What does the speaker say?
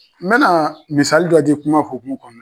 N bɛna misali dɔ di kuma hukumu kɔnɔ.